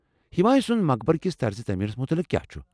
ہمایہوں سٕنٛد مقبرٕ کس طرز تعمیٖرس متعلق کیٛا چھٗ ؟